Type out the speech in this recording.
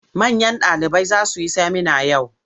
Manyan ɗalibai za su yi semina yau.